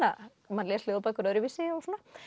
maður les ljóðabækur öðruvísi og svona